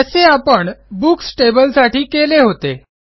जसे आपण बुक्स टेबलसाठी केले होते